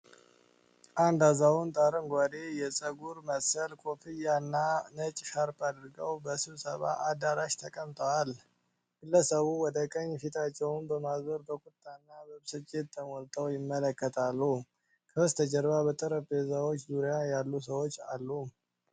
አንድ አዛውንት አረንጓዴ የፀጉር መሰል ኮፍያ እና ነጭ ሻርፕ አድርገው በስብሰባ አዳራሽ ተቀምጠዋል። ግለሰቡ ወደ ቀኝ ፊታቸውን በማዞር በቁጣና በብስጭት ተሞልተው ይመለከታሉ። ከበስተጀርባ በጠረጴዛዎች ዙሪያ ያሉ ሰዎች አሉ።